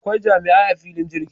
Akwai jami'ai a filin jirgi